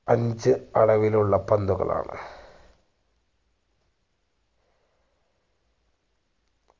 അഞ്ച് അളവിലുള്ള പന്തുകളാണ്